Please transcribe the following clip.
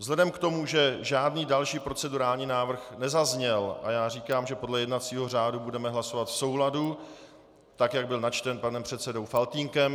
Vzhledem k tomu, že žádný další procedurální návrh nezazněl, a já říkám, že podle jednacího řádu budeme hlasovat v souladu tak, jak byl načten panem předsedou Faltýnkem.